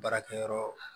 Baarakɛyɔrɔ